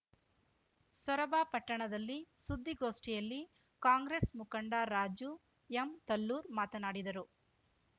ಸೊರಬ ಪಟ್ಟಣದಲ್ಲಿ ಸುದ್ದಿಗೋಷ್ಠಿಯಲ್ಲಿ ಕಾಂಗ್ರೆಸ್‌ ಮುಖಂಡ ರಾಜು ಎಂ ತಲ್ಲೂರ್ ಮಾತನಾಡಿದರು